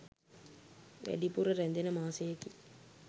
වැඩිපුර රැඳෙන මාසයකි.